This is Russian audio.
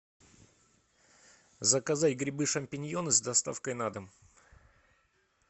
заказать грибы шампиньоны с доставкой на дом